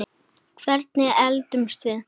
Hvernig eldumst við?